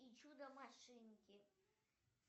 и чудо машинки